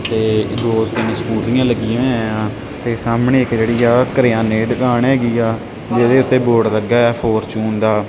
ਤੇ ਦੋ ਤਿੰਨ ਸਕੋਟੀਆਂ ਲੱਗੀਆਂ ਹੋਈਆਂ ਯਾਂ ਤੇ ਸਾਹਮਣੇ ਇੱਕ ਜੇਹੜੀ ਆ ਕਰਿਆਨੇ ਦੀ ਦੁਕਾਨ ਹੈਗੀ ਆ ਜਿਹਦੇ ਓੱਤੇ ਬੋਰਡ ਲੱਗਿਆ ਹੋਇਆ ਹੈ ਫੋਰਚੂਨ ਦਾ।